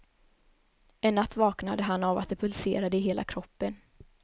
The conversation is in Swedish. En natt vaknade han av att det pulserade i hela kroppen.